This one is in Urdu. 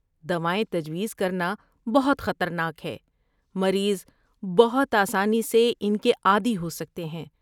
دوائیں تجویز کرنا بہت خطرناک ہے۔ مریض بہت آسانی سے ان کے عادی ہو سکتے ہیں۔